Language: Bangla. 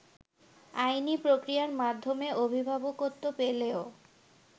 আইনি প্রক্রিয়ার মাধ্যমে অভিভাবকত্ব পেলেও